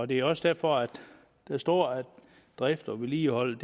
det er også derfor at der står at drift og vedligehold